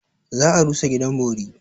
Za a rusa gidan bori.